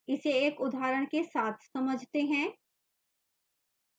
इसे एक उदाहरण के साथ समझते हैं